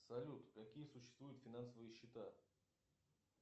салют какие существуют финансовые счета